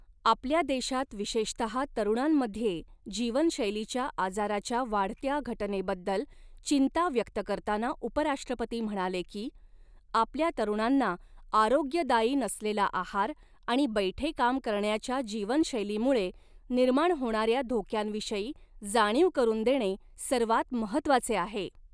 आपल्या देशात, विशेषतः तरुणांमध्ये जीवनशैलीच्या आजाराच्या वाढत्या घटनेबद्दल चिंता व्यक्त करताना उपराष्ट्रपती म्हणाले की, आपल्या तरुणांना आरोग्यदायी ऩसलेला आहार आणि बैठे काम करण्याच्या जीवनशैलीमुळे निर्माण होणाऱ्या धोक्यांविषयी जाणीव करून देणे सर्वांत महत्त्वाचे आहे.